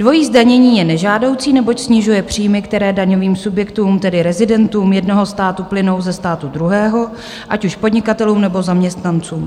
Dvojí zdanění je nežádoucí, neboť snižuje příjmy, které daňovým subjektům, tedy rezidentům jednoho státu, plynou ze státu druhého, ať už podnikatelům, nebo zaměstnancům.